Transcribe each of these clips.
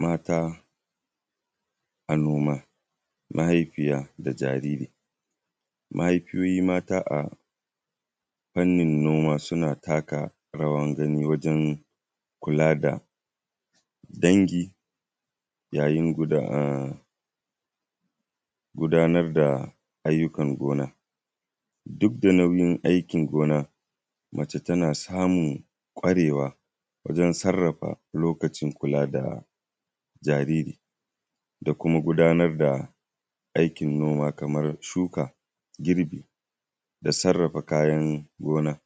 Mata a noma. Mata da yara mahaifiyoyi mata a noma suna taka rawar gani wajen kula da dangi yayin kula da ayyukan gona duk da nauyin aikin gona, mace tana sarrafa lokacinta don ganin kula da jariri da kuma ganin kula da aikin gona kamar shuka, girbi da kuma sarrafa kayan gona.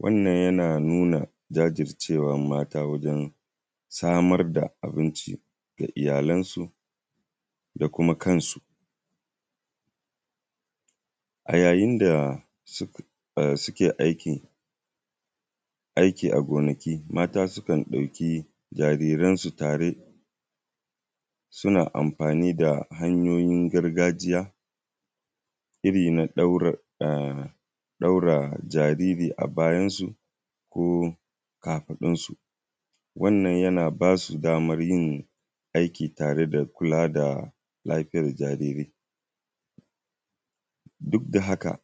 Wannan yana nuna jajircewan mata don samar da abinci ga iyalansu da kuma kansu a yayin da suke aiki a gonaki, mata sukan ɗauki jariransu tare suna amfani da hanyoyin gargajiya irin na ɗaure jariri a bayansu ko kafadunsu wannan yana ba su daman yin aiki tare da kula da lafiyar jariri duk da haka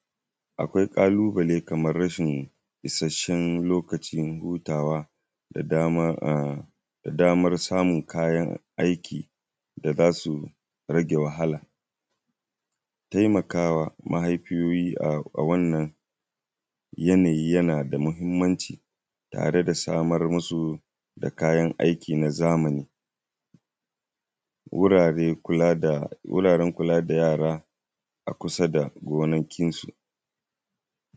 akwai ƙalubale na rashin isasshen lokacin hutawa da dammar samun kayan aiki da za su rage wahala. Taimaka ma mahaifiyoyi a wannan yanayi yana da muhimmanci tare da samar musu da kayan aiki na zamani, wuraren kula da yara a kusa da gonakinsu.